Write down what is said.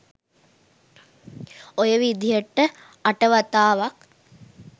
ඔය විදිහට අට වතාවක්